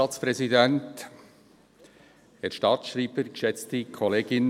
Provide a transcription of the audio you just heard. Kommissionssprecher der SAK.